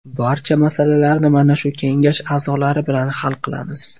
Barcha masalalarni mana shu kengash a’zolari bilan hal qilamiz.